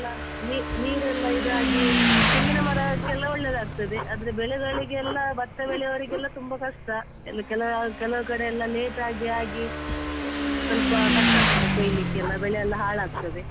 ನೀ~ ನೀರೆಲ್ಲ ಇದಾಗಿ ತೆಂಗಿನಮರಕ್ಕೆಲ್ಲ ಒಳ್ಳೇದಾಗ್ತದೆ ಆದ್ರೆ ಬೆಳೆಗಳಿಗೆಲ್ಲ ಭತ್ತ ಬೆಳೆವವರಿಗೆಲ್ಲ ತುಂಬಾ ಕಷ್ಟ ಎಲ್ಲ ಕೆಲವ್ ಕೆಲವ್ ಕಡೆಯೆಲ್ಲ late ಆಗಿ ಆಗಿ, ಸ್ವಲ್ಪ ಕಷ್ಟ ಆಗ್ತದೆ ಕೊಯ್ಲಿಕ್ಕೆಲ್ಲ ಬೆಳೆಯೆಲ್ಲ ಹಾಳಾಗ್ತದೆ.